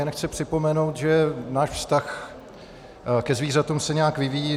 Jen chci připomenout, že náš vztah ke zvířatům se nějak vyvíjí.